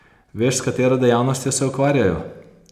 Veš, s katero dejavnostjo se ukvarjajo?